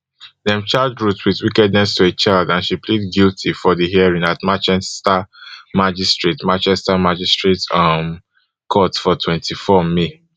dem charge ruth wit wickedness to a child and she plead guilty for di hearing at manchester magistrates manchester magistrates um court for twenty-four may